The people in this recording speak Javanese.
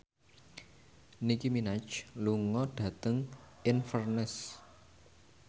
Nicky Minaj lunga dhateng Inverness